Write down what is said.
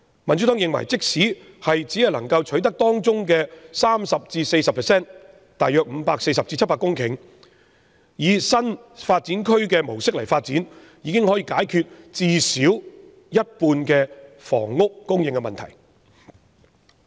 民主黨認為，即使只可取得當中 30% 至 40% 以新發展區模式進行發展，亦可解決最少一半的房屋供應問題。